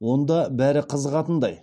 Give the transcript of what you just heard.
онда бәрі қызығатындай